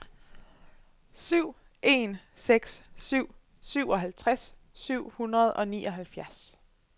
syv en seks syv syvoghalvtreds syv hundrede og nioghalvfjerds